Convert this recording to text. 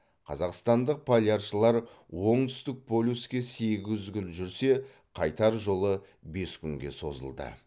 қазақстандық поляршылар оңтүстік полюске сегіз күн жүрсе қайтар жолы бес күнге созылды